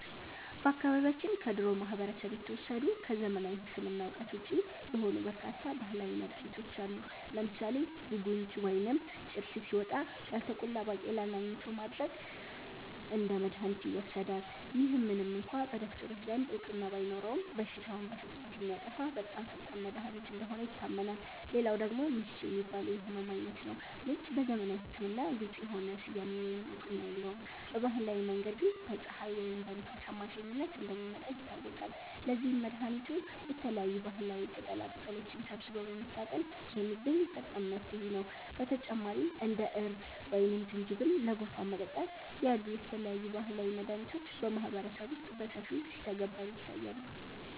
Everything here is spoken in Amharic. በአካባቢያችን ከድሮው ማህበረሰብ የተወሰዱ፣ ከዘመናዊ ሕክምና እውቀት ውጪ የሆኑ በርካታ ባህላዊ መድኃኒቶች አሉ። ለምሳሌ 'ቡንጅ' (ወይም ጭርት) ሲወጣ፣ ያልተቆላ ባቄላን አኝኮ ማድረቅ እንደ መድኃኒት ይወሰዳል። ይህ ምንም እንኳ በዶክተሮች ዘንድ እውቅና ባይኖረውም፣ በሽታውን በፍጥነት የሚያጠፋ በጣም ፈጣን መድኃኒት እንደሆነ ይታመናል። ሌላው ደግሞ 'ምች' የሚባለው የሕመም ዓይነት ነው። ምች በዘመናዊ ሕክምና ግልጽ የሆነ ስያሜ ወይም እውቅና የለውም፤ በባህላዊ መንገድ ግን በፀሐይ ወይም በንፋስ አማካኝነት እንደሚመጣ ይታወቃል። ለዚህም መድኃኒቱ የተለያዩ ባህላዊ ቅጠላቅጠሎችን ሰብስቦ በመታጠን የሚገኝ ፈጣን መፍትሄ ነው። በተጨማሪም እንደ እርድ ወይም ዝንጅብል ለጉንፋን መጠጣት ያሉ የተለያዩ ባህላዊ መድኃኒቶች በማህበረሰቡ ውስጥ በሰፊው ሲተገበሩ ይታያሉ